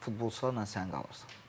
Futbolçularla sən qalırsan.